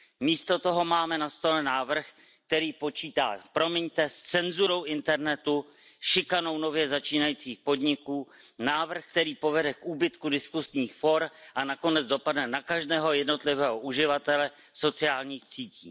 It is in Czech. Místo toho máme na stole návrh, který počítá, promiňte, s cenzurou internetu, šikanou nově začínajících podniků, návrh, který povede k úbytku diskusních fór a nakonec dopadne na každého jednotlivého uživatele sociálních sítí.